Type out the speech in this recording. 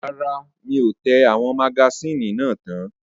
Rárá, mi ò tẹ àwọn magasíìnì náà tán.